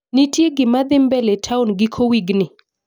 Ntie gima dhii mbele town giko wigni?